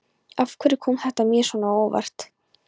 Og af hverju kom þetta mér svona á óvart?